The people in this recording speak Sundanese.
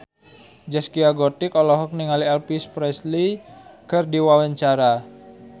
Zaskia Gotik olohok ningali Elvis Presley keur diwawancara